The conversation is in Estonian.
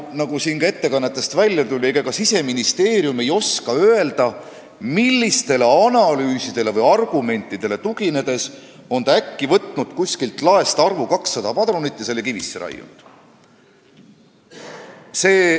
Nagu siin ettekannetest välja tuli, ega ka Siseministeerium ei oska öelda, millistele analüüsidele või argumentidele tuginedes on ta äkki võtnud kuskilt laest padrunite arvu 200 ja selle kivisse raiunud.